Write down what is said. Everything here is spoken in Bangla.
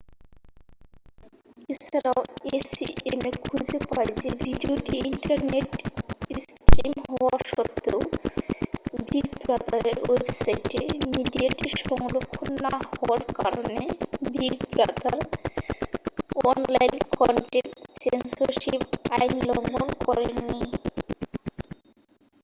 এছাড়াও acma খুঁজে পায় যে ভিডিওটি ইন্টারনেটে স্ট্রিম হওয়া সত্ত্বেও বিগ ব্রাদারের ওয়েবসাইটে মিডিয়াটি সংরক্ষণ না হওয়ার কারণে big brother online content censorship আইন লঙ্ঘন করেন নি